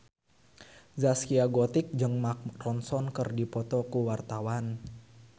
Zaskia Gotik jeung Mark Ronson keur dipoto ku wartawan